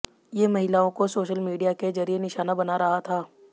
ये महिलाओं को सोशल मीडिया के जरिए निशाना बना रहा था